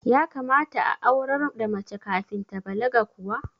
Ya kamata a aurar da mace kafin ta balaga kuwa?